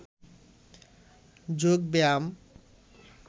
যোগ ব্যায়াম